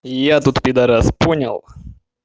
я тут пидорас понял